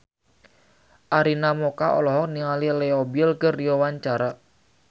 Arina Mocca olohok ningali Leo Bill keur diwawancara